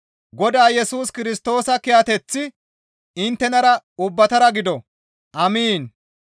Godaa Yesus Kirstoosa kiyateththi inttenara ubbatara gido. Amiin.